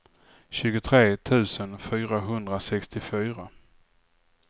tjugotre tusen fyrahundrasextiofyra